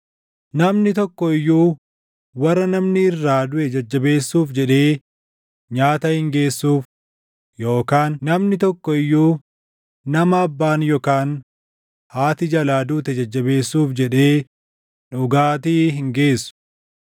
Namni tokko iyyuu warra namni irraa duʼe jajjabeessuuf jedhee nyaata hin geessuuf; yookaan namni tokko iyyuu nama abbaan yookaan haati jalaa duute jajjabeessuuf jedhee dhugaatii hin geessu.